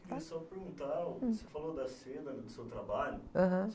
Eu queria só perguntar, você falou da seda, né? Do seu trabalho.ham.